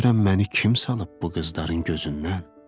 Görəm məni kim salıb bu qızların gözündən?